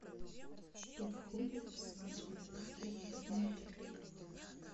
что входит в свадебный пакет в этом отеле